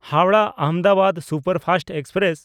ᱦᱟᱣᱲᱟᱦ–ᱟᱦᱚᱢᱫᱟᱵᱟᱫ superfast express